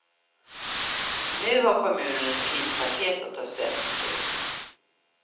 Nu har kommunen ett krispaket att ta ställning till.